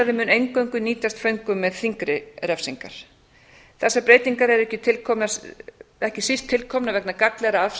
úrræði mun eingöngu nýtast föngum með þyngri refsingar þessar breytingar eru ekki síst tilkomnar vegna gagnlegra